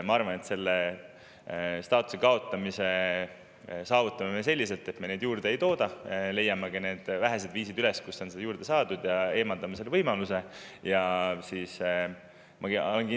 Ma arvan, et selle staatuse kaotamise saavutame me selliselt, et me seda juurde ei tooda, leiame üles ka need vähesed viisid, kuidas neid on juurde, ja selle võimaluse.